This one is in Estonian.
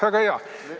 Väga hea!